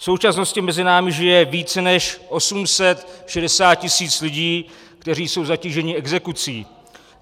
V současnosti mezi námi žije více než 860 tisíc lidí, kteří jsou zatíženi exekucí.